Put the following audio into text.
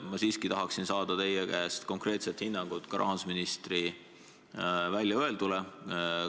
Ma siiski tahan saada teie käest konkreetset hinnangut ka rahandusministri väljaöeldule.